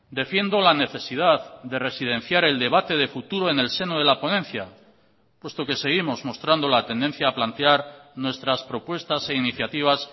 defiendo la necesidad de residenciar el debate de futuro en el seno de la ponencia puesto que seguimos mostrando la tendencia a plantear nuestras propuestas e iniciativas